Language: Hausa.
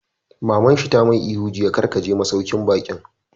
Maman shi ta mai ihu jiya 'Kar ka je masauƙin baƙin'!